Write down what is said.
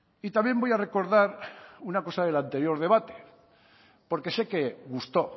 y también voy a recordar una cosa del anterior debate porque sé que gustó